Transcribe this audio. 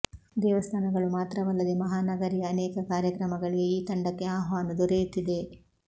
ದೇವಸ್ಥಾನಗಳು ಮಾತ್ರವಲ್ಲದೆ ಮಹಾನಗರಿಯ ಅನೇಕ ಕಾರ್ಯಕ್ರಮಗಳಿಗೆ ಈ ತಂಡಕ್ಕೆ ಆಹ್ವಾನ ದೊರೆಯುತ್ತಿದೆ